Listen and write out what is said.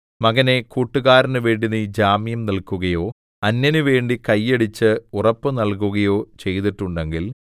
മകനേ കൂട്ടുകാരനു വേണ്ടി നീ ജാമ്യം നില്ക്കുകയോ അന്യനുവേണ്ടി കൈയടിച്ച് ഉറപ്പ് നൽകുകയോ ചെയ്തിട്ടുണ്ടെങ്കിൽ